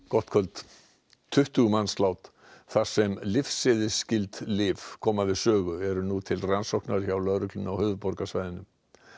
gott kvöld tuttugu mannslát þar sem lyfseðilsskyld lyf koma við sögu eru nú til rannsóknar hjá lögreglunni á höfuðborgarsvæðinu